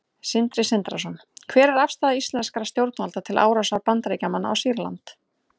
Sindri Sindrason: Hver er afstaða íslenskra stjórnvalda til árásar Bandaríkjamanna á Sýrland?